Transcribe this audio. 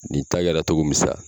Nin ta kɛra cogo min sa